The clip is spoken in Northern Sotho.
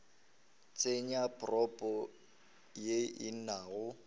tsenya propo ye e nago